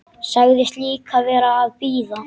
Sagðist líka vera að bíða.